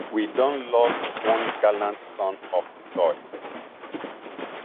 we don lost one gallant son of di soil